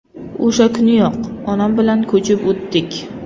O‘sha kuniyoq, onam bilan ko‘chib o‘tdik.